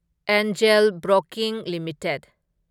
angel broking limited